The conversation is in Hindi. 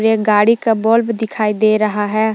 गाड़ी का बल्ब दिखाई दे रहा है ।